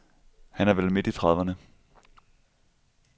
Han er vel midt i trediverne.